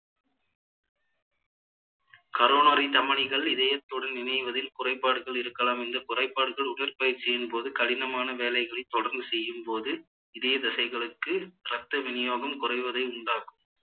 coronary தமனிகள் இதயத்தோடு இணைவதில் குறைபாடுகள் இருக்கலாம் இந்த குறைபாடுகள் உடற்பயிற்சியின் போது கடினமான வேலைகளை தொடர்ந்து செய்யும் போது இதய தசைகளுக்கு இரத்த விநியோகம் குறைவதை உண்டாக்கும்